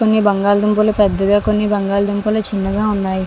కొన్ని బంగాళా దుంపలు పెద్దగా కొన్ని బంగాళా దుంపలు చిన్నగా ఉన్నాయి .